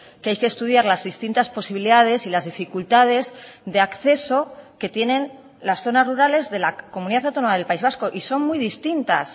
que hay que estudiar las distintas posibilidades y las dificultades de acceso que tienen las zonas rurales de la comunidad autónoma del país vasco y son muy distintas